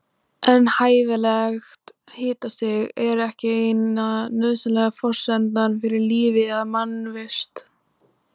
En hæfilegt hitastig er ekki eina nauðsynlega forsendan fyrir lífi eða mannvist.